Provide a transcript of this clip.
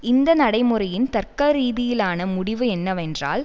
இந்த நடைமுறையின் தர்க்கரீதியிலான முடிவு என்னவென்றால்